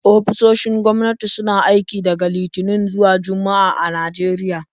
Ofisoshin gwamnati suna aiki daga Litinin zuwa Juma'a a Najeriya.